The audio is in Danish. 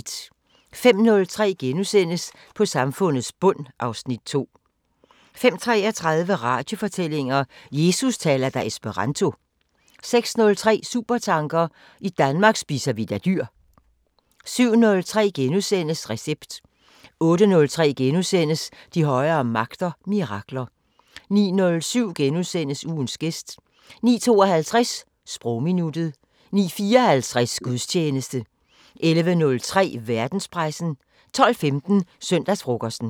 05:03: På samfundets bund (Afs. 2)* 05:33: Radiofortællinger: Jesus taler da esperanto 06:03: Supertanker: I Danmark spiser vi da dyr 07:03: Recept * 08:03: De højere magter: Mirakler * 09:07: Ugens gæst * 09:52: Sprogminuttet 09:54: Gudstjeneste 11:03: Verdenspressen 12:15: Søndagsfrokosten